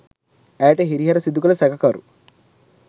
ඇයට හිරිහැර සිදුකළ සැකකරු